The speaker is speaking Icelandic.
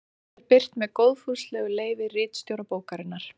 Svarið er birt með góðfúslegu leyfi ritstjóra bókarinnar.